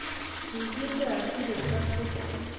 Kigiilgei asigesopche---